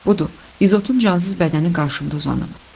Budur, İzotun cansız bədəni qarşımda uzanıb.